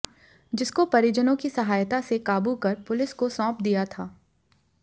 जिसको परिजनों की सहायता से काबू कर पुलिस को सौंप दिया था